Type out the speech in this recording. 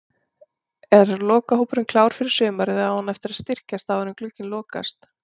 Er lokahópurinn klár fyrir sumarið eða á hann eftir að styrkjast áður en glugginn lokast?